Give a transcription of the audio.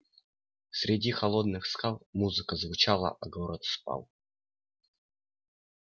среди холодных скал музыка звучала а город спал